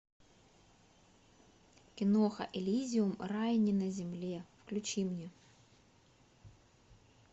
киноха элизиум рай не на земле включи мне